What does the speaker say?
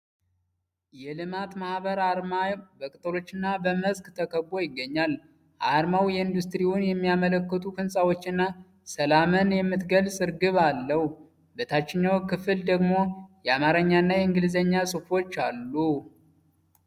የልማት ማህበር አርማ በቅጠሎችና በመስክ ተከቦ ይገኛል። አርማው ኢንዱስትሪን የሚያመለክቱ ህንፃዎችና ሰላምን የምትገልጽ እርግብ አለው። በታችኛው ክፍል ደግሞ የአማርኛና የእንግሊዝኛ ጽሁፎች አሉ፡፡